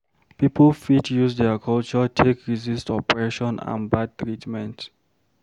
Pipo fit use their culture take resist oppression and bad treatment